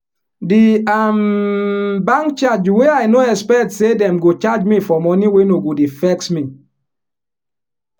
di um bank charge wey i no expect expect say dem go charge me for money wey no go dey vex me.